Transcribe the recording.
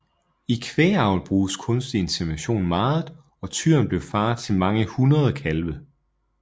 I kvægavl bruges kunstig insemination meget og tyren blev far til mange hundrede kalve